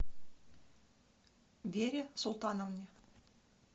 вере султановне